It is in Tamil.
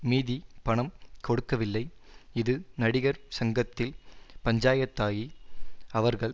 மீதி பணம் கொடுக்கவில்லை இது நடிகர் சங்கத்தில் பஞ்சாயத்தாகி அவர்கள்